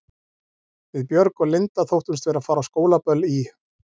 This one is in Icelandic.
Við Björg og Linda þóttumst vera að fara á skólaböll í